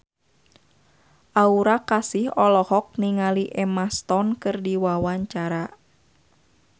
Aura Kasih olohok ningali Emma Stone keur diwawancara